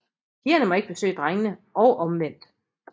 Pigerne må ikke besøge drengene og omvendt